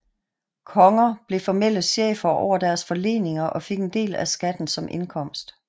Konger blev formelle chefer over deres forleninger og fik en del af skatten som indkomst